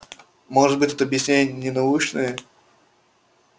может быть тут объяснение не научное